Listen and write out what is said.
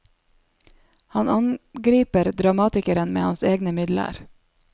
Han angriper dramatikeren med hans egne midler.